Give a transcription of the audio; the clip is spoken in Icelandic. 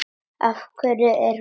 Af hverju er hún týnd?